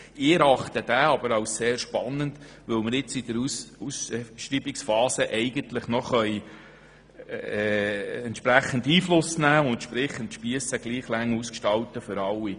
Ich erachte den Antrag aber als sehr spannend, weil wir in der Ausschreibungsphase noch entsprechend Einfluss nehmen und die Spiesse für alle Wettbewerber gleich lang gestalten können.